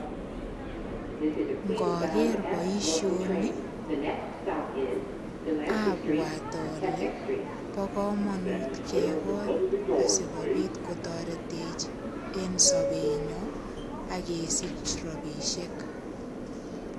Ngager boisioni, abwat ale bokamanut kegol asigopit kotoretech en sobenyo ak kesich rapisiek.